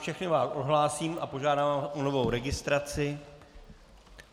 Všechny vás odhlásím a požádám o novou registraci.